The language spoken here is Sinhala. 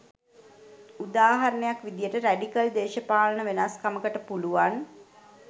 උදාහරණයක් විදිහට රැඩිකල් දේශපාලන වෙනස්කමකට පුළුවන්